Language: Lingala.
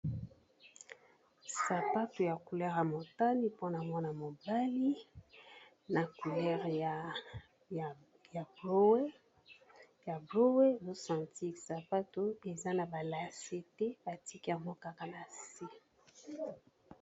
Sapato ya couleur ya motani mpona mwana mobali na couleur ya bowe o sentir sapato eza na ba lase te batiki yango kaka na se.